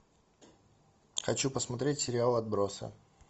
хочу посмотреть сериал отбросы